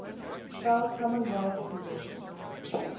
spell commonwealth precision